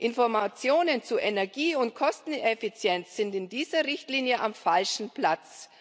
Informationen zu Energie und Kosteneffizienz sind in dieser Richtlinie am falschen Platz.